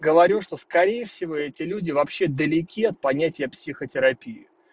говорю что скорее всего эти люди вообще далеки от понятия психотерапии